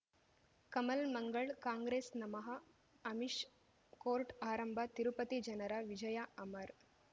ಕಮಲ್ ಮಂಗಳ್ ಕಾಂಗ್ರೆಸ್ ನಮಃ ಅಮಿಷ್ ಕೋರ್ಟ್ ಆರಂಭ ತಿರುಪತಿ ಜನರ ವಿಜಯ ಅಮರ್